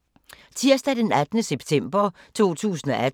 Tirsdag d. 18. september 2018